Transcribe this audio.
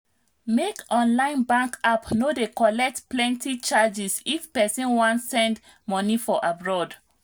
many online bank app no dey collect plenti charges if pesin wan send money for abroad